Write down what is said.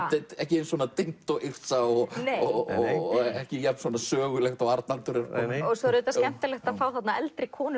ekki eins dimmt og Yrsa og ekki jafn sögulegt og Arnaldur svo er auðvitað skemmtilegt að fá eldri konu